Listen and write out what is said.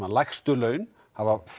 lægstu laun hafa